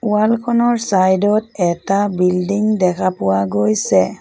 Wall খনৰ side ত এটা বিল্ডিং দেখা পোৱা গৈছে।